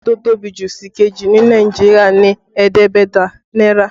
Owó tó tóbi jù sìkejì ní Nàìjíríà ni ẹ̀ẹ́dẹ́gbẹ̀ta náírà